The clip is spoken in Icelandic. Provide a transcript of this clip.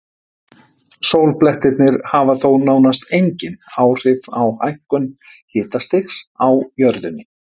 sólblettirnir hafa þó nánast engin áhrif á hækkun hitastigs á jörðunni